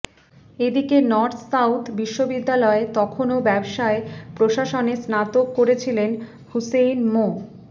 এদিকে North South বিশ্ববিদ্যালয়ে তখনো ব্যবসায় প্রশাসনে স্নাতক করছিলেন হুসেইন মো